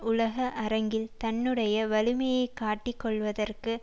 உலக அரங்கில் தன்னுடைய வலிமையை காட்டிக் கொள்ளுவதற்கு